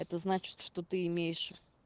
это значит что ты имеешь